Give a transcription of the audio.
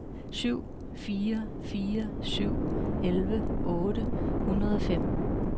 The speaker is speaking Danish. syv fire fire syv elleve otte hundrede og fem